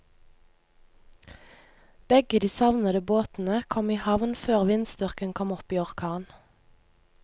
Begge de savnede båtene kom i havn før vindstyrken kom opp i orkan.